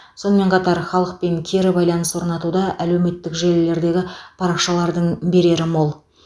сонымен қатар халықпен кері байланыс орнатуда әлеуметтік желілердегі парақшалардың берері мол